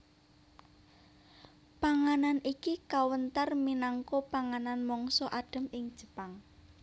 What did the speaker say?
Panganan iki kawentar minangka panganan mangsa adhem ing Jepang